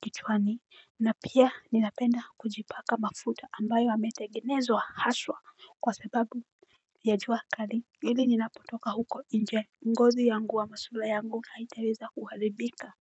kichwani. Na pia ninapenda kujipaka mafuta ambayo yametengenezwa haswa kwa sababu ya jua kali ili ninapotoka huko nje. Ngozi yangu ama sula yangu haitaweza kuharibika.